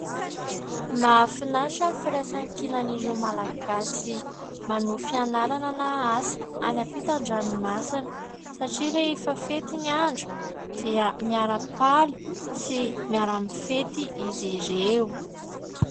Mahafinaritra ny firaisankinan'ireo malagasy manohy fianarana na asa any ampitan-dranomasina satria rehefa fety ny andro dia miaram-paly sy miara mifety izy ireo.